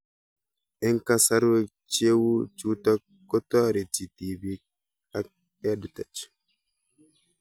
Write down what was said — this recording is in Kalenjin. Eng' kasarwek cheu chutok kotareti tipik ak EdTech